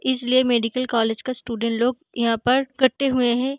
इसलिए medical college का student लोग यहाँ पर कट्टे हुए हैं।